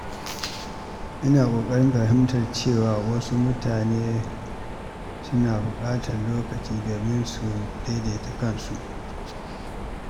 Ina ƙoƙarin fahimtar cewa wasu mutane suna buƙatar lokaci domin su daidaita kansu.